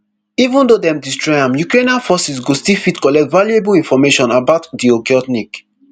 even though dem destroy am ukrainian forces go still fit collect valuable information about di okhotnik